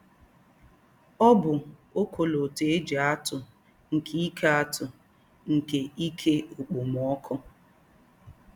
Ọ bụ ọkọlọtọ e ji atụ nke ike atụ nke ike okpomọkụ.